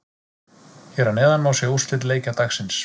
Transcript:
Hér að neðan má sjá úrslit leikja dagsins.